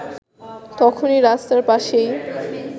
তখনই রাস্তার পাশেই